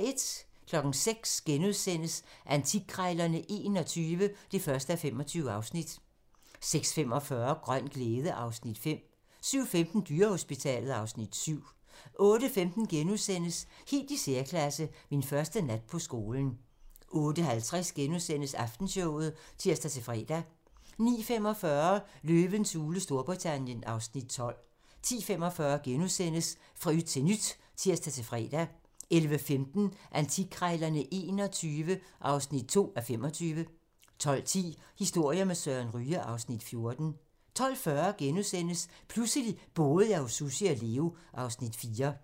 06:00: Antikkrejlerne XXI (1:25)* 06:45: Grøn glæde (Afs. 5) 07:15: Dyrehospitalet (Afs. 7) 08:15: Helt i særklasse - Min første nat på skolen * 08:50: Aftenshowet *(tir-fre) 09:45: Løvens hule Storbritannien (Afs. 12) 10:45: Fra yt til nyt *(tir-fre) 11:15: Antikkrejlerne XXI (2:25) 12:10: Historier med Søren Ryge (Afs. 14) 12:40: Pludselig boede jeg hos Sussi og Leo (Afs. 4)*